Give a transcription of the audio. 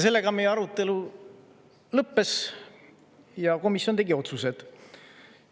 Sellega meie arutelu lõppes ja komisjon tegi otsused.